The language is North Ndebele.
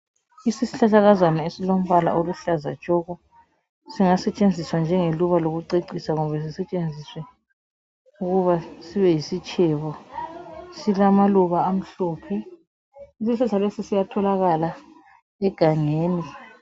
Isihlahlakazana esilombala oluhlaza tshoko singa setshenziswa njenge luba lokucecisa kumbe sisetshenziswe ukuba sibe yisitshebo . Silamaluba amhlophe , isihlahla lesi siyatholakala egangeni.